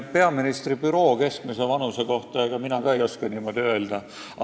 Peaministri büroo personali keskmise vanuse kohta ei oska ka mina midagi öelda.